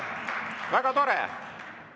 Väga tore!